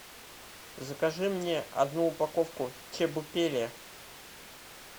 закажи мне одну упаковку чебупели